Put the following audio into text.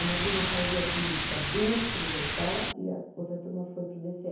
Uma turma fazia política dentro da escola e a outra turma foi para o dê cê é.